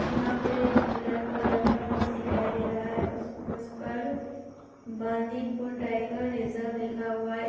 यहाँ पर एक ब्लैक कलर का बस दिखाई दे रहा है। उस बस पर बांदीपुर टाइगर रिसर्व लिखा हुआ है।